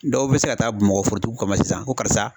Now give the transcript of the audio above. Dɔw bi se ka taa Bamakɔ forotigiw kama sisan ko karisa